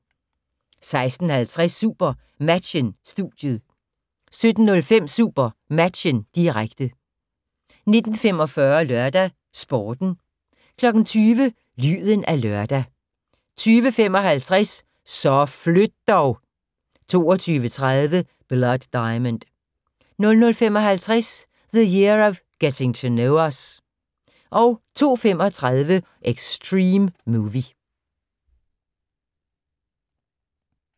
16:50: SuperMatchen: Studiet 17:05: SuperMatchen, direkte 19:45: LørdagsSporten 20:00: Lyden af lørdag 20:55: Så flyt dog! 22:30: Blood Diamond 00:55: The Year of Getting to Know Us 02:35: Extreme Movie